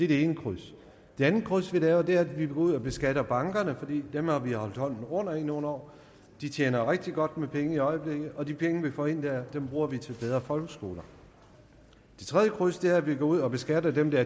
det ene kryds det andet kryds vi laver er at vi går ud og beskatter bankerne for dem har vi holdt hånden under i nogle år de tjener rigtig godt med penge i øjeblikket og de penge vi får ind der bruger vi til bedre folkeskoler det tredje kryds er at vi går ud og beskatter dem der